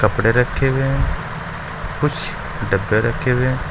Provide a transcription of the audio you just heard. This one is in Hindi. कपड़े रखें हुए हैं कुछ डब्बे रखे हुए--